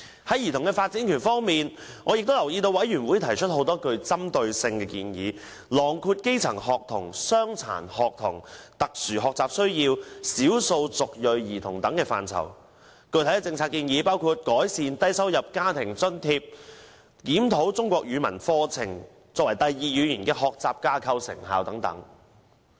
在兒童發展權方面，我留意到小組委員會亦提出很多針對性的建議，囊括基層學童、傷殘學童、特殊學習需要及少數族裔兒童等範疇，具體政策建議包括改善低收入家庭津貼和檢討"中國語文課程第二語言學習架構"的成效等。